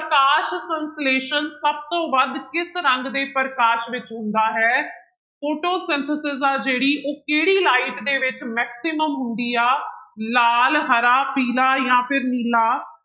ਪ੍ਰਕਾਸ਼ ਸੰਸਲੇਸ਼ਣ ਸਭ ਤੋਂ ਵੱਧ ਕਿਸ ਰੰਗ ਦੇ ਪ੍ਰਕਾਸ਼ ਵਿੱਚ ਹੁੰਦਾ ਹੈ Photosynthesis ਆ ਜਿਹੜੀ ਉਹ ਕਿਹੜੀ light ਦੇ ਵਿੱਚ maximum ਹੁੰਦੀ ਆ ਲਾਲ, ਹਰਾ, ਪੀਲਾ ਜਾਂ ਫਿਰ ਨੀਲਾ।